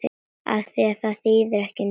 Afþvíað það þýðir ekki neitt.